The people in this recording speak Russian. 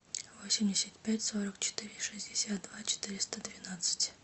восемьдесят пять сорок четыре шестьдесят два четыреста двенадцать